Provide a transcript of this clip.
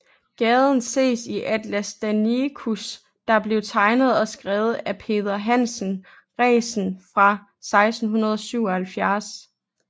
Gaden ses i Atlas Danicus der blev tegnet og skrevet af Peder Hansen Resen fra 1677